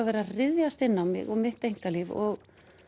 verið að ryðjast inn á mig og mitt einkalíf og